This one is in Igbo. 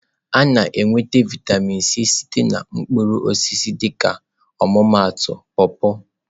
A na-enweta vịatamin C site na mkpụrụ osisi dịka ọmụmaatụ paw-paw.